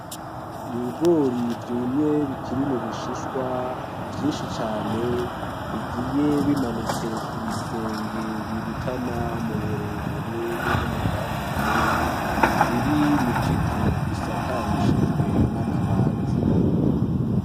Ibigori vyumye bikiri mubishishwa vyinshi cane bigiye bimanitse kubisenge birutana mu burebure be no mu bwaguke, biri mukizu gisakarishijwe n'amabati.